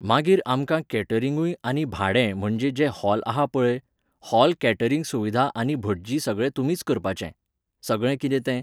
मागीर आमकां कॅटरिंगूय आनी भाडें म्हणजे जें हॉल आहा पळय, हॉल कॅटरिंग सुविधा आनी भटजी सगळें तुमीच करपाचें. सगळें कितें तें.